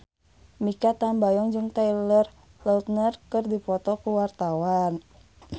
Mikha Tambayong jeung Taylor Lautner keur dipoto ku wartawan